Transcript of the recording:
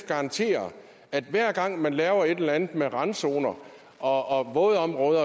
garantere at hver gang man laver et eller andet med randzoner og vådområder